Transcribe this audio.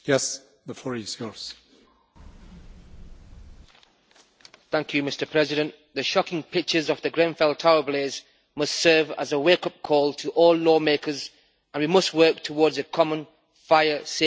Mr President, the shocking pictures of the Grenfell Tower blaze must serve as a wake up call to all law makers, and we must work towards a common fire safety strategy.